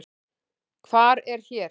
Hvar er hér?